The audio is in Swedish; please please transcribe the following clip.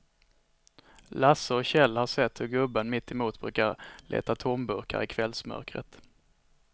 Lasse och Kjell har sett hur gubben mittemot brukar leta tomburkar i kvällsmörkret.